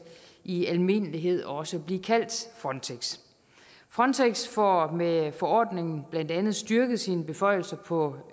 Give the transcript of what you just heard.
i almindelighed også blive kaldt frontex frontex får med forordningen blandt andet styrket sine beføjelser på